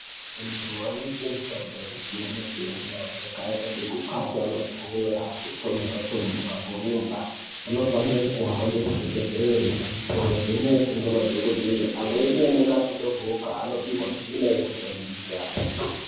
Antu anoite mutambo yakasiya siyana yakaita sekukaba mabhora, kutomuka tomuka, kurumba, vanofanira kuhamba kuzvibhehlere kunovhenekwa ngemadhokoteya amweni anenge asvodogoka anopihwe mishini yekushandisa.